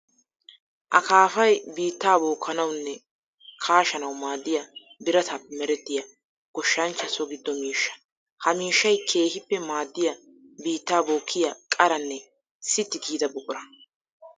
Akaafay biitta bookanawunne kaashsanawu maadiya biratappe meretiya goshshanchcha so gido miishsha. Ha miishshay keehippe maadiya biitta bookiya qaranne sitti giida buqura.